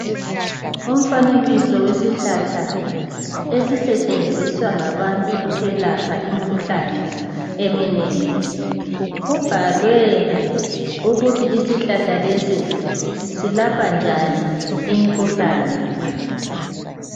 Umfanekiso wesihlahla esisetshenziswa ngabantu ukwelapha imikhuhlane eminengi, kubhalwe ukuthi isihlahla lesi selapha njani imikhuhlane.